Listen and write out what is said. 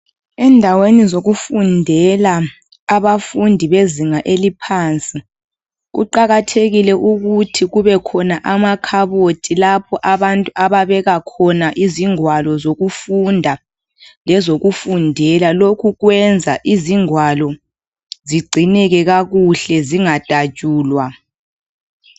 Endaweni zokufundela abafundi bezinga eliphansi. Kuqakathekile ukuthi kubekhona amakhabothi lapho abantu ababeka khona izingwalo zokufunda lezokufundela .Lokhu kwenza izingwalo zigcineke kakuhle zingadatshulwa .